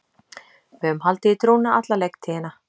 Við höfum haldið í trúna alla leiktíðina.